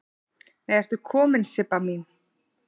Nei ertu komin Sibba mín!